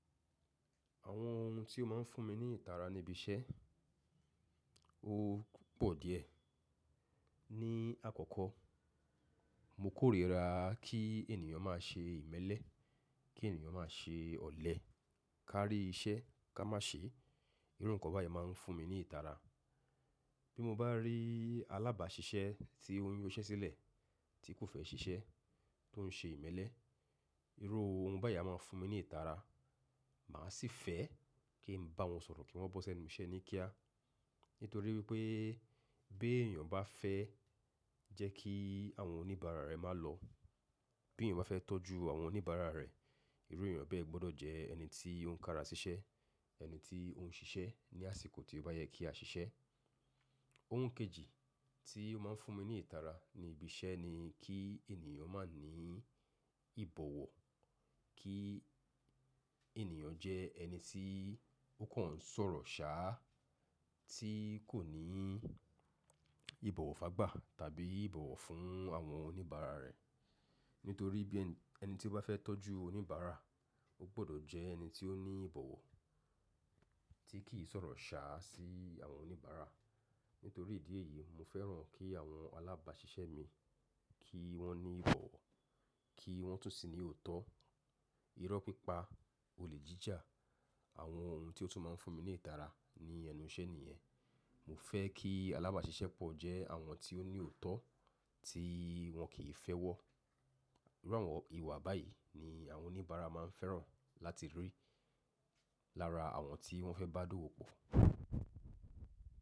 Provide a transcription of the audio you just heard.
Àwọn ohun tí ó máa ń fún mi ní ìtara níbiṣẹ́, ó pọ̀ díẹ̀. Ni àkọ́kọ́, mo kórìíra kí ènìyàn má ṣe ìmẹ́lẹ́, kí ènìyàn má ṣe ọ̀lẹ, ká rí iṣẹ́ ká má ṣe, irú nǹkan báyìí máa ń fún mi ní ìtara. Bí mo bá rí alábàáṣiṣẹ́ tí ó ń yọṣẹ́ sílẹ̀, tí kò fẹ́ ṣiṣẹ́, tó ń ṣe ìmẹ́lẹ́, irú ohun báyìí a máa fún mi ní ìtara. Mà á sì fẹ́ kí n bá wọn sọ̀rọ̀ kí wọ́n bọ́ ṣẹ́nu iṣẹ́ ní kíá. Nítorí wípé bí èeyàn bá fẹ́ jẹ́ kí àwọn oníbàárà rẹ̀ má lọ̀, bí èeyàn bá fẹ́ tọ́jú àwọn oníbàárà rẹ̀, irú èeyàn bẹ́ẹ̀ gbọ́dọ̀ jẹ́ ẹni tí ó ń kara sí iṣẹ́, ẹni tí ó ń ṣiṣẹ́ ní àsìkò tí ó bá yẹ kí a ṣiṣẹ́. Ohun kejì tí ó máa ń fún mi ní ìtara ni íbi iṣẹ́ ni kí ènìyàn má ní ìbọ̀wọ̀, kí ènìyàn jẹ́ ẹni tí ó kàn ń sọ̀rọ̀ ṣaá, tí kò ní ìbọ̀wọ̀ fàgbà tàbí ìbọ̀wọ̀ fún àwọn oníbàárà rẹ̀. Nítorí bí ẹni tí ó bá fẹ́ tọ́jú oníbàárà, ó gbọ́dọ̀ jẹ́ ẹni tí ó ní ìbọ̀wọ̀ tí kì í sọ̀rọ̀ ṣaá sí àwọn oníbàárà. Nítorí ìdí èyí, mo fẹ́ràn kí àwọn alábàáṣiṣẹ́ mi kí wọ́n ní ìbọ̀wọ̀, kí wọ́n tún sì ní òótọ́, irọ́ pípa, olè jíjà, àwọn ohun tí ó tún máa ń fún mi ní ìtara ní ẹnu iṣẹ́ nìyẹn. Mo fẹ́ kí alábàáṣiṣẹ́ pọ̀ jẹ́ àwọn tí ó ní òótọ́ tí wọn kì í fẹ́ wọ́. Irú àwọn ìwà báyìí ni àwọn oníbàárà máa ń fẹ́ràn láti rí lára àwọn tí wọ́n fẹ́ bá dówò pọ̀.